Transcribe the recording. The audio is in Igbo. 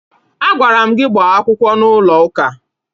Agwara m gị gbaa akwụkwọ n'ụlọụka!